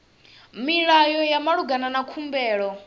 milayo ya malugana na khumbelo